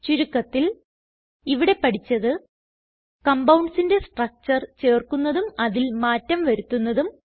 ചുരുക്കത്തിൽ ഇവിടെ പഠിച്ചത് compoundsന്റെ സ്ട്രക്ചർ ചേർക്കുന്നതും അതിൽ മാറ്റം വരുത്തുന്നതും